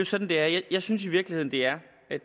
sådan det er jeg synes i virkeligheden det er